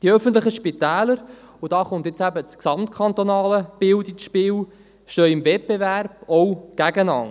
Die öffentlichen Spitäler – und hier kommt jetzt eben das gesamtkantonale Bild ins Spiel – stehen im Wettbewerb, auch gegeneinander.